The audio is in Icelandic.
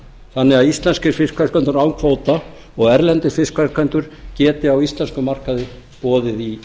þannig að íslenskir fiskverkendur án kvóta og erlendir fiskverkendum geti á íslenskum markaði boðið í